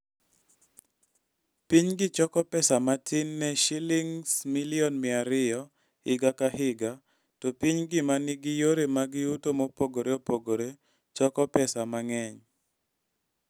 Pinygi choko pesa matin ne Sh200 million higa ka higa, to pinygi ma nigi yore mag yuto mopogore opogore choko pesa mang'eny.